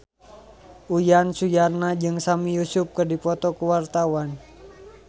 Uyan Suryana jeung Sami Yusuf keur dipoto ku wartawan